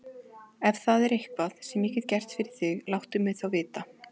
Ef það er eitthvað, sem ég get gert fyrir þig, láttu mig þá vita.